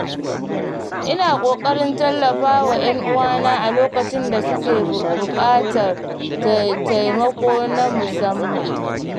Ina ƙoƙarin tallafa wa ‘yan uwana a lokacin da suke buƙatar taimako na musamman.